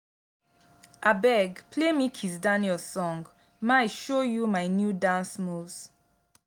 abeg play me kizz daniel song my show you my new dance moves